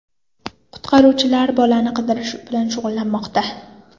Qutqaruvchilar bolani qidirish bilan shug‘ullanmoqda.